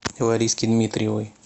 лариски дмитриевой